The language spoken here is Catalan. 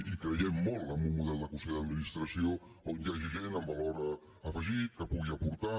hi creiem molt en un model de consell d’administració on hi hagi gent amb valor afegit que pugui aportar